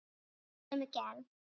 Hanskar af sömu gerð.